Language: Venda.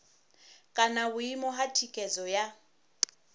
kana vhuimo ha thikhedzo ya